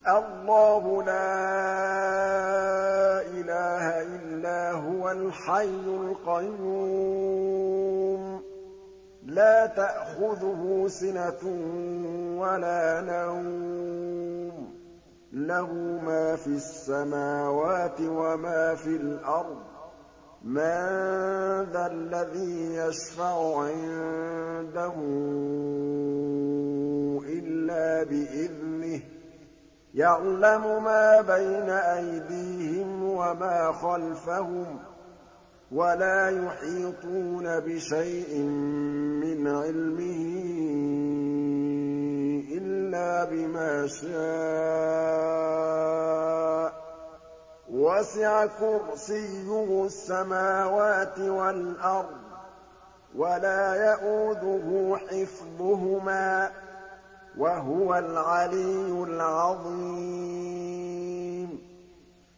اللَّهُ لَا إِلَٰهَ إِلَّا هُوَ الْحَيُّ الْقَيُّومُ ۚ لَا تَأْخُذُهُ سِنَةٌ وَلَا نَوْمٌ ۚ لَّهُ مَا فِي السَّمَاوَاتِ وَمَا فِي الْأَرْضِ ۗ مَن ذَا الَّذِي يَشْفَعُ عِندَهُ إِلَّا بِإِذْنِهِ ۚ يَعْلَمُ مَا بَيْنَ أَيْدِيهِمْ وَمَا خَلْفَهُمْ ۖ وَلَا يُحِيطُونَ بِشَيْءٍ مِّنْ عِلْمِهِ إِلَّا بِمَا شَاءَ ۚ وَسِعَ كُرْسِيُّهُ السَّمَاوَاتِ وَالْأَرْضَ ۖ وَلَا يَئُودُهُ حِفْظُهُمَا ۚ وَهُوَ الْعَلِيُّ الْعَظِيمُ